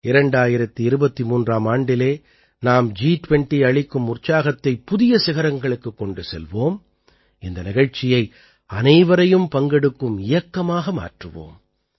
2023ஆம் ஆண்டிலே நாம் ஜி20 அளிக்கும் உற்சாகத்தைப் புதிய சிகரங்களுக்குக் கொண்டு செல்வோம் இந்த நிகழ்ச்சியை அனைவரையும் பங்கெடுக்கும் இயக்கமாக மாற்றுவோம்